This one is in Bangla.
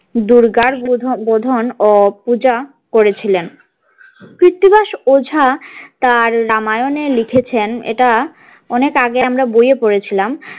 দূর্গার বোধন ও পূজা করেছিলেন কৃত্তিবাস ওঝা তার রামায়ণে লিখেছেন এটা অনেক আগে আমরা বইয়ে পড়েছিলাম।